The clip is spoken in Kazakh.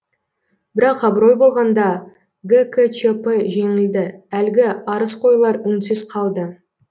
бірақ абырой болғанда гкчп жеңілді әлгі арызқойлар үнсіз қалды